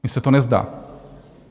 Mně se to nezdá.